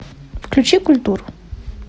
включи культуру